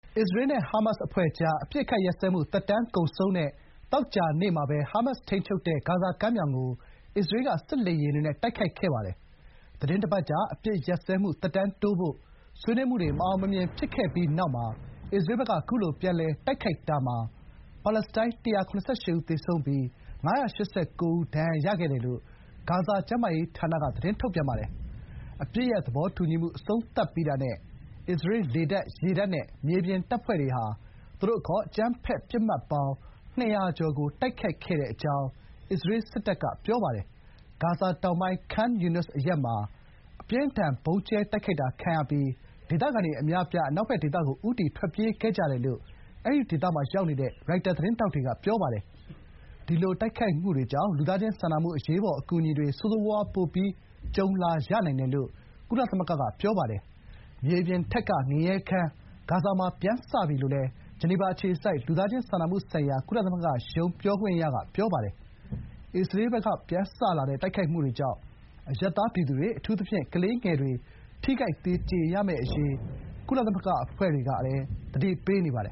အစ္စရေး နဲ့ ဟာမတ်စ်အဖွဲ့ကြား အပစ်အခတ်ရပ်စဲမှု သက်တမ်းကုန်ဆုံးတဲ့ သောကြာနေ့မှာပဲ ဟာမတ်စ်ထိန်းချုပ်တဲ့ ဂါဇာကမ်းမြောင်ကို အစ္စရေးက စစ်လေယာဥ်တွေနဲ့ တိုက်ခိုက်ခဲ့ပါတယ်။ သီတင်းတပတ်ကြာ အပစ်ရပ်စဲမှု သက်တမ်းတိုးဖို့ ဆွေးနွေးမှုတွေ မအောင်မမြင် ဖြစ်ခဲ့ပြီးတဲ့နောက် အစ္စရေးဘက်က ခုလို ပြန်လည် တိုက်ခိုက်တာမှာ ပါလက်စတိုင်း ၁၇၈ ဦး သေဆုံးပြီး ၅၈၉ ယောက် ဒဏ်ရာရ ခဲ့တယ်လို့ ဂါဇာ ကျန်းမာရေးဌာနက ထုတ်ပြန်ပါတယ်။ အပစ်ရပ် သဘောတူညီမှု အဆုံးသတ်ပြီးတာနဲ့ အစ္စရေး လေတပ်၊ ရေတပ်နဲ့ မြေပြင်တပ်ဖွဲ့တွေဟာ သူတို့အခေါ် အကြမ်းဖက်ပစ်မှတ်ပေါင်း ၂၀၀ ကျော်ကို တိုက်ခိုက်ခဲ့တဲ့အကြောင်း အစ္စရေး စစ်တပ်က ပြောပါတယ်။ ဂါဇာတောင်ပိုင်း Khan Younis အရပ်မှာ အပြင်းအထန် ဗုံးကြဲ တိုက်ခိုက်တာ ခံရပြီး ဒေသခံတွေ အများအပြား အနောက်ဘက်ဒေသကို ဦးတည် ထွက်ပြေးခဲ့ကြတယ်လို့ အဲ့ဒီဒေသမှာရှိတဲ့ ရိုက်တာ သတင်းထောက်တွေက ပြောပါတယ်။ ဒီလို တိုက်ခိုက်မှုတွေကြောင့် လူသားချင်းစာနာမှု အရေးပေါ် အကူအညီတွေ ဆိုးဆိုးရွားရွား ပိုပြီး ကြုံလာရနိုင်တယ်လို့ ကုလသမဂ္ဂက ပြောပါတယ်။ မြေပြင်ထက်က ငရဲခန်း ဂါဇာမှာ ပြန်စပြီ − လို့ ဂျနီဗာအခြေစိုက် လူသားချင်းစာနာမှုဆိုင်ရာ ကုလသမဂ္ဂရုံး ပြောခွင့်ရ Jens Laerke က ပြောပါတယ်။ အစ္စရေးဘက်က ပြန်စလာတဲ့ တိုက်ခိုက်မှုတွေကြောင့် အရပ်သားပြည်သူတွေ၊ အထူးသဖြင့် ကလေးငယ်တွေ ထိခိုက် သေကြေရမယ့်အရေး ကုလသမဂ္ဂ အဖွဲ့တွေက သတိပေးနေပါတယ်